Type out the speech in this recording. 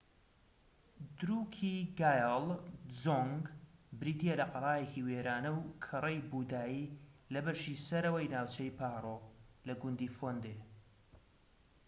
دروکیگایال دزۆنگ بریتیە لە قەڵایەکی وێرانە و کەڕەی بوودایی لە بەشی سەرەوەی ناوچەی پارۆ لە گوندی فۆندێ